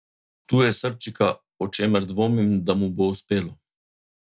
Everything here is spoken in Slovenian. Tu je srčika, o čemer dvomim, da mu bo uspelo.